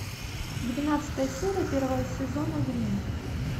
двенадцатая серия первого сезона гримм